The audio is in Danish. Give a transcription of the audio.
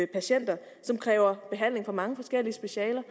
patienter som kræver behandling fra mange forskellige specialer